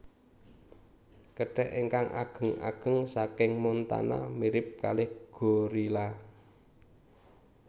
Kethek ingkang ageng ageng saking Montana mirip kalih gorila